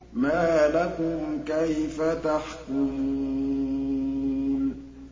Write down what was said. مَا لَكُمْ كَيْفَ تَحْكُمُونَ